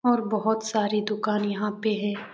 और बहुत सारी दुकान यहां पर है।